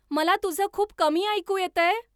मला तुझं खूप कमी ऐकू येतय